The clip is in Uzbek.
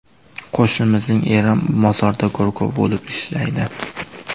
Qo‘shnimizning eri mozorda go‘rkov bo‘lib ishlaydi.